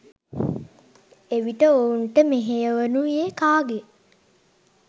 එවිට ඔවුන්ට මෙහෙයවනුයේ කාගේ